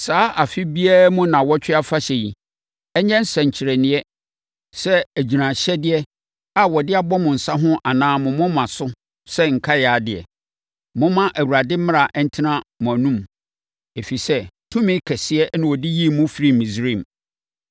Saa afe biara mu nnawɔtwe afahyɛ yi, ɛnyɛ nsɛnkyerɛnneɛ te sɛ agyiraeɛhyɛdeɛ a wɔde abɔ mo nsa ho anaa mo moma so sɛ nkae adeɛ. Momma Awurade mmara ntena mo anom, ɛfiri sɛ tumi kɛseɛ na ɔde yii mo firii Misraim.